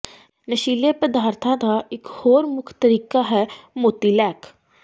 ਨਸ਼ੀਲੇ ਪਦਾਰਥਾਂ ਦਾ ਇਕ ਹੋਰ ਮੁੱਖ ਤਰੀਕਾ ਹੈ ਮੋਤੀਲੈਕ